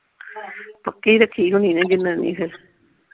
ਪੱਕੀ ਰਾਖੀ ਹੋਣੀ ਨਾ ਜਨਾਨੀ ਫੇਰ।